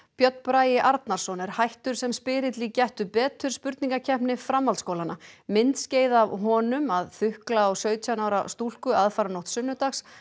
Björn Bragi Arnarsson er hættur sem spyrill í Gettu betur spurningakeppni framhaldsskólanna myndskeið af honum að þukla á sautján ára stúlku aðfaranótt sunnudags